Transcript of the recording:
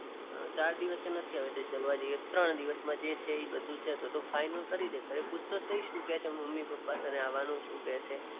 ચાર દિવસ જ નથી હવે ત્રણ દિવસમાં જે છે એ બધું છે તો ફાઇનલ કરી દે, ઘરે પૂછ તો સહી, શું કે છે મમ્મી પપ્પા તને આવાનું છું કે છે.